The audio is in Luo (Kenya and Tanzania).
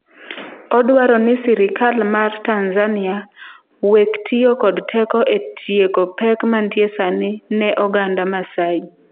"Odwaro ni sirikal mar Tanzania "wek tiyo kod teko e tieko pek mantie sani ne oganda Maasai."""